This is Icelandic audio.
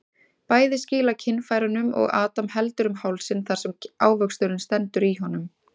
Bæði skýla kynfærunum og Adam heldur um hálsinn þar sem ávöxturinn stendur í honum.